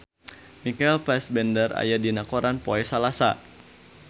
Michael Fassbender aya dina koran poe Salasa